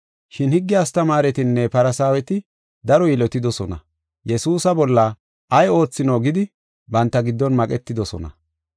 Shin higge astamaaretinne Farsaaweti daro yilotidosona. Yesuusa bolla ay oothino gidi banta giddon maqetidosona.